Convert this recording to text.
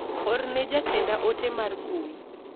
Orne ne jatenda ote mar mbui.